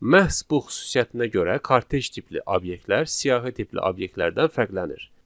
Məhz bu xüsusiyyətinə görə kortej tipli obyektlər, siyahı tipli obyektlərdən fərqlənir.